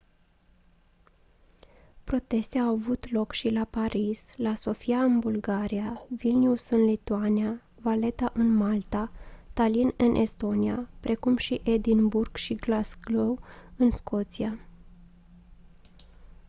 proteste au avut loc și la paris la sofia în bulgaria vilnius în lituania valetta în malta tallinn în estonia precum și edinburgh și glasgow în scoția